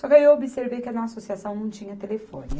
Só que aí eu observei que na associação não tinha telefone.